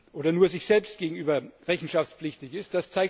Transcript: oder nur sich selbst gegenüber rechenschaftspflichtig ist.